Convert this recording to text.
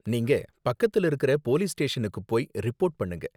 நீங்க பக்கத்துல இருக்கிற போலீஸ் ஸ்டேஷனுக்கு போய் ரிப்போர்ட் பண்ணுங்க.